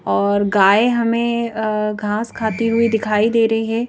और गाय हमेंअअ घास खाती हुई दिखाई दे रही है।